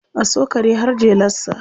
A so kare har jelarsa.